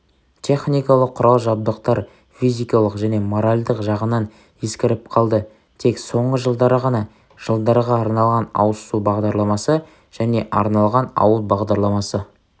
техникалық құрал-жабдықтар физикалық және моральдық жағынан ескіріп қалды тек соңғы жылдары ғана жылдарға арналған ауыз су бағдарламасы және арналған ауыл бағдарламасы